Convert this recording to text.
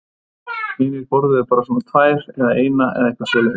Hinir borðuðu bara svona tvær eða eina eða eitthvað svoleiðis.